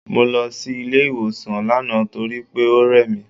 Mo lọ sí ilé ìwòsàn lánàá torí pé ó rẹ̀ mí.